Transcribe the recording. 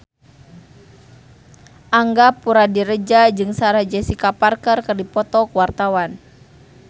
Angga Puradiredja jeung Sarah Jessica Parker keur dipoto ku wartawan